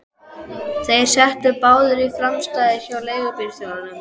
Þeir settust báðir í framsætið hjá leigubílstjóranum.